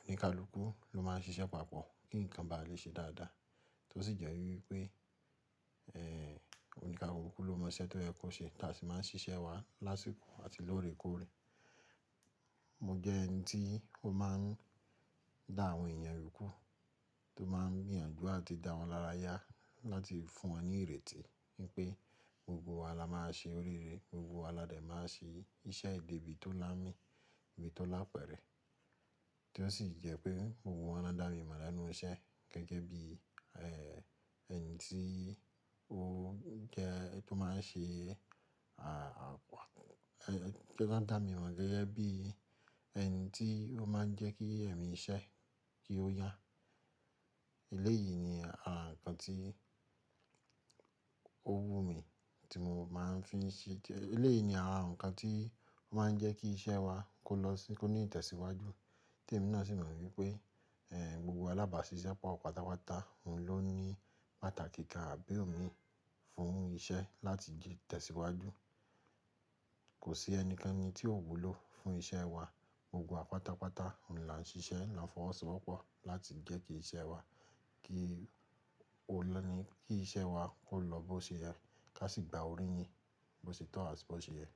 oníkálùkù ló máa ń ṣiṣẹ́ papọ̀ kí ǹkan ba lè ṣe dáadáa. Tó sì jẹ́ wípé eh oníkàlùkù ló mọ iṣẹ́ tó yẹ kó ṣe tá a sì máa ń ṣiṣẹ́ wa lásìkò àti lóòrèkóòrè. Mo jẹ́ ẹni tí ó máa ń dá àwọn èèyàn rúkú, tó máa ń gbìyànjú àti dá wọn lára yá láti fún wọn ní ìrètí pé gbogbo wa la máa ṣe orire, gbogbo wa la dè máa ṣe iṣẹ́ yi debí tó lámi, debi tó lápẹ̀rẹ̀. Tó sì jẹ́ pé gbogbo won lo dá mi mọ̀ lẹ́nu iṣẹ́ gẹ́gẹ́ bí ẹni tí ó jẹ tó máa ń ṣe à, tórań dá mi mọ̀ gẹ́gẹ́ bí ẹni tí ó máa ń jẹ́ kí ẹ̀mí iṣẹ́ kí ó yá. Eléyìí ni àra ǹkan tí ó wu mi tí mo máa ń fi ń ṣe jẹ́, eléyìí ni àànkan tí ó máa ń jẹ́ kí iṣẹ́ wa kó lọ sí, kó ní ìtẹ̀síwájú tí èmi náà sì mọ̀ wípé eh gbogbo alábáṣiṣẹ́pọ̀ wa pátápátá òun ló ní pàtàkì kán àbí òmíì fún iṣẹ́ láti di ìtẹ̀síwájú. Kò sí ẹnikẹ́ni tí ó wù ló fún iṣẹ́ wa, gbogbo wa pátápátá là ń ṣiṣẹ́, là ń fọwọ́sowọ́pọ̀ láti jẹ́ kí iṣẹ́ wa kí ó lọ́ni, kí iṣẹ́ wa ó lọ bó ṣe yẹ ká sì gba orí yín bó ṣe tọ́ àbí bó ṣe yẹ.